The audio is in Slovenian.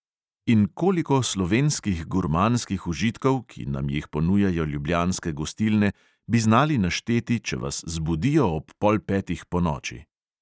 In koliko slovenskih gurmanskih užitkov, ki nam jih ponujajo ljubljanske gostilne, bi znali našteti, če vas zbudijo ob pol petih ponoči?